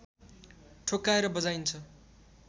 ठोक्काएर बजाइन्छ